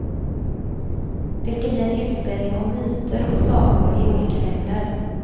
Det ska bli en utställning om myter och sagor i olika länder.